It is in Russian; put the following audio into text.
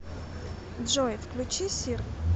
джой включи сир